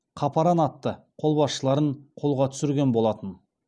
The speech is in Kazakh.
қапаран атты қолбасшыларын қолға түсірген болатын